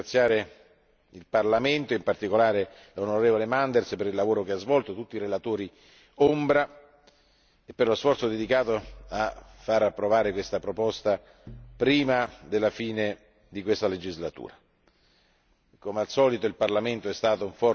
Signor Presidente, permettetemi di ringraziare il Parlamento, e in particolare l'onorevole Manders, per il lavoro svolto, tutti i relatori ombra e per lo sforzo dedicato a far approvare questa proposta prima della fine di questa legislatura.